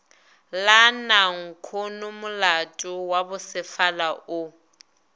la nankhonomolato wa bosefala o